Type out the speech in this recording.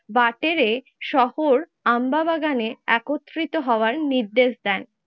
বাটেরে শহর আম্বাবাগানে একত্রিত হওয়ার নির্দেশ দেন।